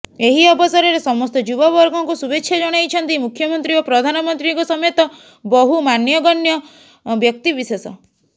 ଏହି ଅବସରରେ ସମସ୍ତ ଯୁବବର୍ଗଙ୍କୁ ଶୁଭେଚ୍ଛା ଜଣାଇଛନ୍ତି ମୁଖ୍ୟମନ୍ତ୍ରୀ ଓ ପ୍ରଧାନମନ୍ତ୍ରୀଙ୍କ ସମେତ ବହୁ ମାନ୍ୟଗଣ୍ୟ ବ୍ୟକ୍ତିବିଶେଷ